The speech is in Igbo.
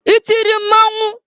I tiri mmọnwụ?